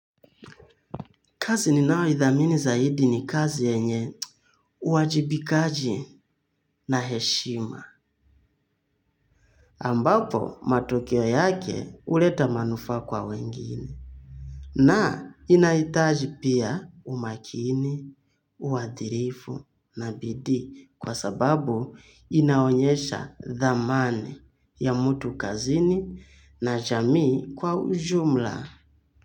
Kazi ninayoithamini zaidi ni kazi yenye uwajibikaji na heshima. Ambapo matokeo yake huleta manufaa kwa wengine. Na inahitaji pia umakini, uadilifu na bidii kwa sababu inaonyesha thamani ya mtu kazini na jamii kwa ujumla.